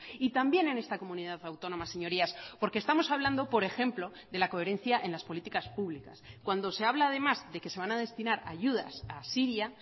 y también en esta comunidad autónoma señorías porque estamos hablando por ejemplo de la coherencia en las políticas públicas cuando se habla además de que se van a destinar ayudas a siria